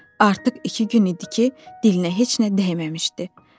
Artıq iki gün idi ki, dilinə heç nə dəyməmişdi.